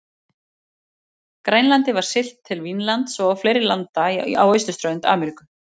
Grænlandi var siglt til Vínlands og fleiri landa á austurströnd Ameríku.